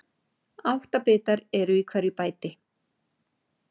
Átta bitar eru í hverju bæti.